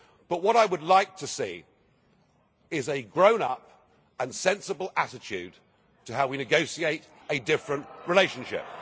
But what I would like to see is a grown up and sensible attitude to how we negotiate a different relationship.